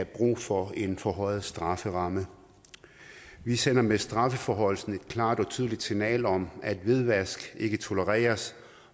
brug for en forhøjet strafferamme vi sender med strafforhøjelsen et klart og tydeligt signal om at hvidvaskning ikke tolereres